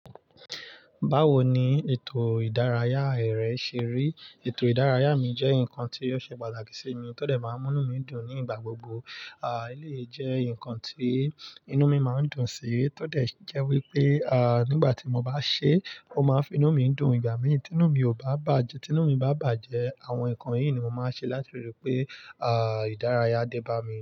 Báwo ni ètò ìdárayá rẹ ṣe rí? Ètò ìdárayá mi jẹ́ nǹkan tí yóò ṣe pàtàkì sí mi tó dẹ̀ máa ń mú mí dùn nígbà gbogbo. Àí lè jẹ́ ǹkan tí inú mi máa ń dùn sí, tó dẹ̀ jẹ́ wípé, à nígbà tí mo bá ṣe, ó máa ń fi inú mí dùn ìgbà mí, tí inú mi ò bá bàjẹ́, tí inú mi bá bàjẹ́, àwọn ǹkan yìí ni mo máa ṣe láti ríi pé, à ìdárayá dé bá mi.